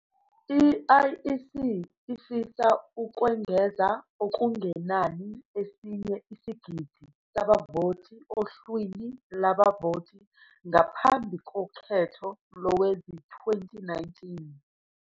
I-IEC ifisa ukwengeza okungenani esinye isigidi sabavoti ohlwini lwabavoti ngaphambi kokhetho lowezi-2019.